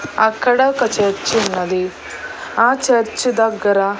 అక్కడ ఒక చర్చ్ ఉన్నది ఆ చర్చ దగ్గర.